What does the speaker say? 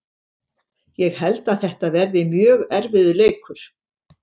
Ég held að þetta verði mjög erfiður leikur.